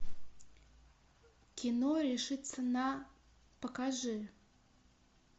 кино решиться на покажи